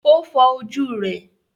ó fọ ojú rẹ̀.